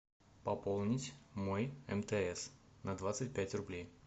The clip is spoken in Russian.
пополнить мой мтс на двадцать пять рублей